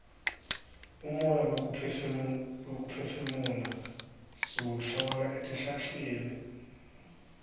umoya wekuphefumula siwutfola etihlahleni